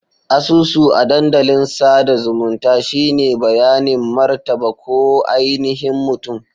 Asusu a dandalin sada zumunta shine bayanin martaba ko ainihin mutum.